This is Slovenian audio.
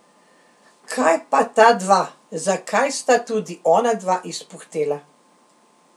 Kaj pa ta dva, zakaj sta tudi onadva izpuhtela?